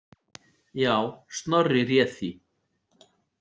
Já, Snorri réð því.